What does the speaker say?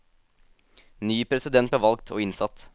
Ny president ble valgt og innsatt.